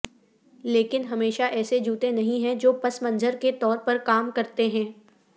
لیکن ہمیشہ ایسے جوتے نہیں ہیں جو پس منظر کے طور پر کام کرتے ہیں